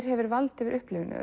hefur vald yfir upplifuninni